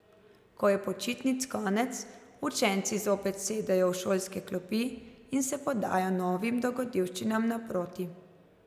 Ko je počitnic konec, učenci zopet sedejo v šolske klopi in se podajo novim dogodivščinam naproti.